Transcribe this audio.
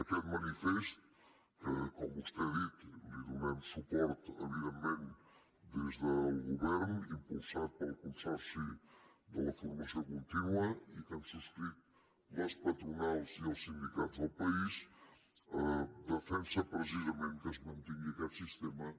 aquest manifest al qual com vostè ha dit donem suport evidentment des del govern impulsat pel consorci de la formació contínua i que han subscrit les patronals i els sindicats del país defensa precisament que es mantingui aquest sistema